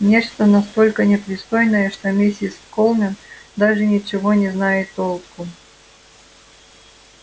нечто настолько непристойное что миссис колмен даже ничего не знает толком